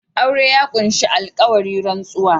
Aure ya ƙunshi alƙawari/ rantsuwa